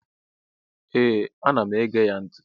Ee anam ege ya nti